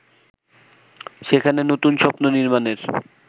সেখানে নতুন স্বপ্ন নির্মাণের